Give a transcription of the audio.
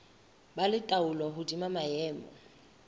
ba le taolo hodima maemo